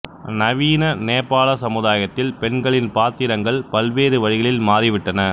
நவீன நேபாள சமுதாயத்தில் பெண்களின் பாத்திரங்கள் பல்வேறு வழிகளில் மாறிவிட்டன